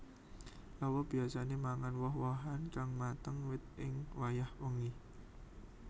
Lawa biyasané mangan woh wohan kang mateng wit ing wayah bengi